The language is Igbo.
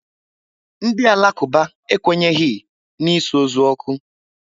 Ndị Alakuba ekwenyi n'isu ozu oku